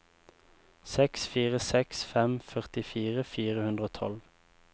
seks fire seks fem førtifire fire hundre og tolv